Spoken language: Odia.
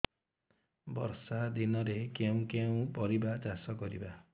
ବର୍ଷା ଦିନରେ କେଉଁ କେଉଁ ପରିବା ଚାଷ କରିବା